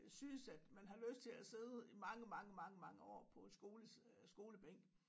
Synes at man har lyst til at sidde mange mange mange mange år på en skole øh skolebænk